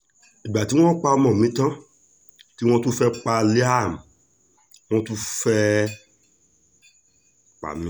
ìgbà tí wọ́n pa ọmọ mi tán tí wọ́n tún fẹ́ẹ́ pa liam wọ́n tún fẹ́ẹ́ pa mí